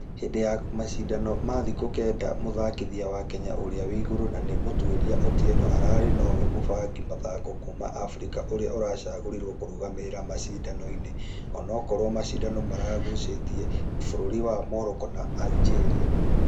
Hĩndĩ ya mashidano ma thikũ kenda mũthakithia wa kenya ũrĩa wĩigũrũ na nĩ mũtuĩria otieno ararĩ nũwe mũbangi mũthako kuuma africa ũrĩa ũracagorirwo kũrũgamĩrĩra mashidano-inĩ. Ũnokorwo mashidano nĩmaragucĩtie bũrũri wa Morocco na Algeria.